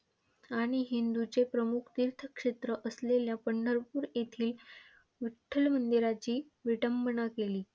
आणि हिंदूंचे प्रमुख तीर्थक्षेत्र असलेल्या पंढरपूर येथील विठ्ठल मंदिरांची विटंबना केली.